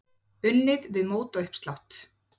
Unnið við mótauppslátt.